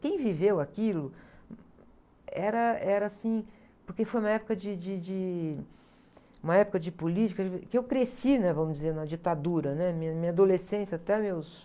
Quem viveu aquilo era, era, assim, porque foi uma época de, de, de, uma época de política, que eu cresci, né? Vamos dizer, na ditadura, né? Minha, minha adolescência até meus...